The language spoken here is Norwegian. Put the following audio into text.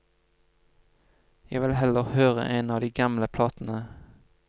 Jeg vil heller høre en av de gamle platene.